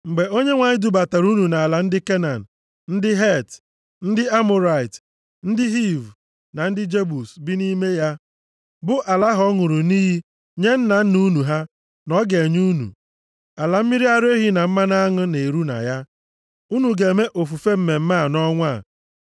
Mgbe Onyenwe anyị dubatara unu nʼala ndị Kenan, ndị Het, ndị Amọrait, ndị Hiv na ndị Jebus bi nʼime ya, bụ ala ahụ ọ ṅụrụ nʼiyi nye nna nna unu ha na ọ ga-enye unu, ala mmiri ara ehi na mmanụ aṅụ na-eru na ya, unu ga-eme ofufe mmemme a nʼọnwa a.